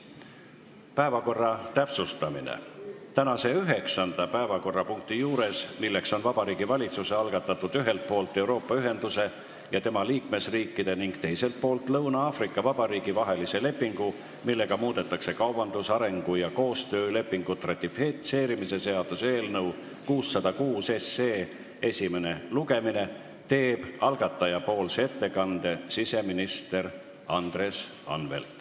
Päevakorra täpsustamine: tänase üheksanda päevakorrapunkti juures, milleks on Vabariigi Valitsuse algatatud "Ühelt poolt Euroopa Ühenduse ja tema liikmesriikide ning teiselt poolt Lõuna-Aafrika Vabariigi vahelise lepingu, millega muudetakse kaubandus-, arengu- ja koostöölepingut" ratifitseerimise seaduse eelnõu 606 esimene lugemine, teeb algataja nimel ettekande siseminister Andres Anvelt.